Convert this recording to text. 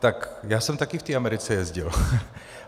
Tak já jsem také v té Americe jezdil.